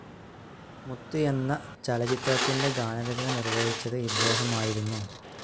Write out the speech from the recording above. മുത്ത് എന്ന ചലച്ചിത്രത്തിന്റെ ഗാനരചന നിർവഹിച്ചത് ഇദ്ദേഹമായിരുന്നു.